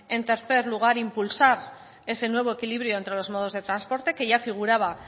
en tercer lugar impulsar ese nuevo equilibrio entre los modos de transporte que ya figuraba